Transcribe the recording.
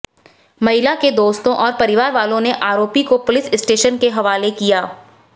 महिला के दोस्तों और परिवारवालो ने आरोपी को पुलिस स्टेशन के हवाले किया